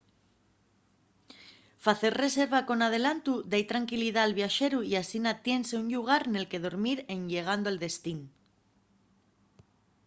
facer reserva con adelantu da-y tranquilidá al viaxeru y asina tiénse un llugar nel que dormir en llegando al destín